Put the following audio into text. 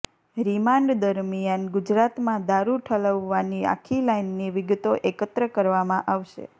remand દરમિયાન ગુજરાતમાં દારૂ ઠલવવાની આખી લાઈનની વિગતો એકત્ર કરવામાં આવશે